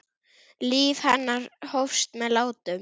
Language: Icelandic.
Líf hennar hófst með látum.